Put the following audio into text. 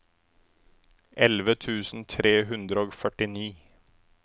elleve tusen tre hundre og førtini